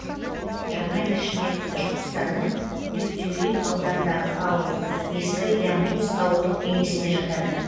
жаңа ишмет башқұртстанның дюртюлин ауданындағы ауыл ескі янтуз ауылдық кеңесіне жатады